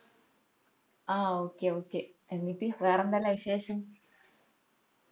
ആ ok ok എന്നിട്ട് വേറെന്തെല്ലാ വിശേഷം